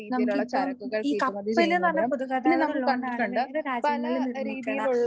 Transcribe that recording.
നമുക്കിപ്പം ഈ കപ്പലെന്ന് പറഞ്ഞ പൊതുഗതാഗതം ഉള്ളതുകൊണ്ടാണ് വേറെ രാജ്യത്ത് നിർമ്മിക്കണ